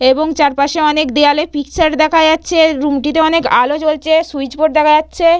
এবং চারপাশে অনেক দেওয়ালে পিকচার দেখা যাচ্ছে। রুমটিতে অনেক আলো জ্বলছে। সুইচ বোর্ড দেখা যাচ্ছে।